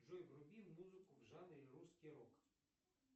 джой вруби музыку в жанре русский рок